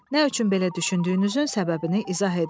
Nə üçün belə düşündüyünüzün səbəbini izah edin.